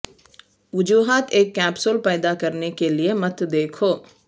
وجوہات ایک کیپسول پیدا کرنے کے لئے مت دیکھو